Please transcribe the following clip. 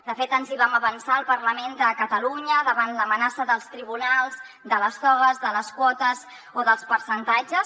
de fet ens hi vam avançar al parlament de catalunya davant l’amenaça dels tribunals de les togues de les quotes o dels percentatges